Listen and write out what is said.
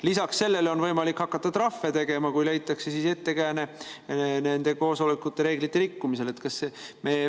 Lisaks sellele on võimalik hakata trahve tegema, kui leitakse ettekääne, et nendel koosolekutel on reegleid rikutud.